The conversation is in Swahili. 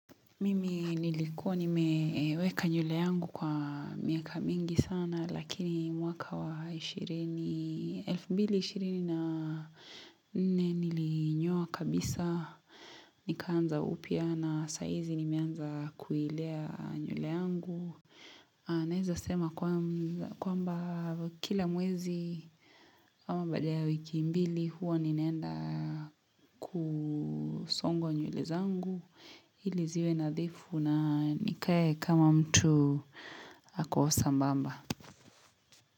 Mimi nilikuwa nimeweka nywele yangu kwa miaka mingi sana lakini mwaka wa 2024 nilinyoa kabisa nikaanza upya na saa hizi nimeanza kuilea nywele yangu. Naeza sema kwamba kila mwezi ama baada ya wiki mbili huwa ninaenda kusongwa nywele zangu ili ziwe nadhifu na nikae kama mtu ako sambamba.